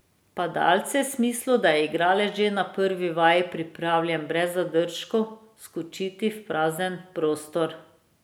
Padalce v smislu, da je igralec že na prvi vaji pripravljen brez zadržkov skočiti v prazen prostor.